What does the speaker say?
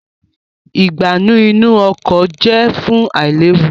Ìgbánú inú ọkọ̀ jẹ fún ailewu